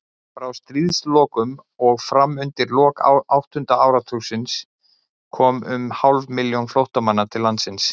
Frá stríðslokum og fram undir lok áttunda áratugarins komu um hálf milljón flóttamanna til landsins.